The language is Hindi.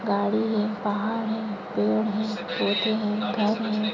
गाड़ी है पहाड़ है पेड है पौधे है घर है।